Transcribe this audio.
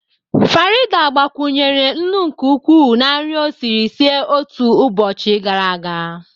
Farida gbakwunyere nnu nke ukwuu na nri o siri sie otu ụbọchị gara aga